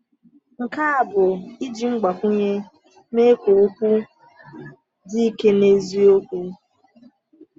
Nke a bụ iji mgbakwunye mee ka okwu dị ike n’eziokwu.